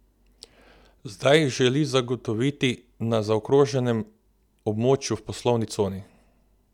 Zdaj jih želi zagotoviti na zaokroženem območju v poslovni coni.